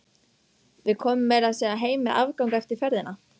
Við komum meira að segja heim með afgang eftir ferðina.